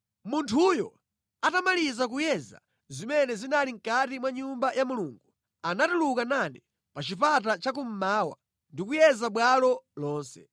Munthuyo atamaliza kuyeza zimene zinali mʼkati mwa Nyumba ya Mulungu, anatuluka nane pa chipata chakummawa ndi kuyeza bwalo lonse.